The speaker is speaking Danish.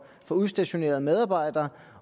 for udstationerede medarbejdere